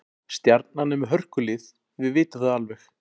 Stjarnan er með hörkulið, við vitum það alveg.